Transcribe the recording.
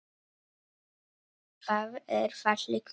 Það er fallegt nafn.